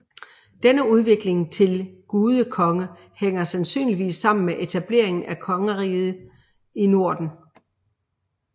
Denne udvikling til gudekonge hænger sandsynligvis sammen med etableringen af kongeriger i Norden